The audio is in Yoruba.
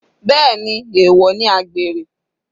Bẹ́ẹ̀ni, èwọ̀ ni àgbèrè.